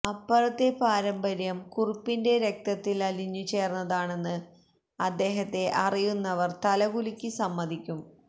അപ്പറഞ്ഞ പാരമ്പര്യം കുറുപ്പിന്റെ രക്തത്തിലലിഞ്ഞു ചേര്ന്നതാണെന്ന് അദ്ദേഹത്തെ അറിയുന്നവര് തലകുലുക്കി സമ്മതിക്കും